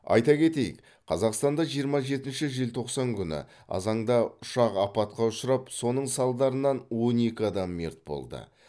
айта кетейік қазақстанда жиырма жетінші желтоқсан күні азаңда ұшақ апатқа ұшырап соның салдарынан он екі адам мерт болды